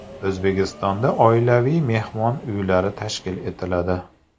O‘zbekistonda oilaviy mehmon uylari tashkil etiladi.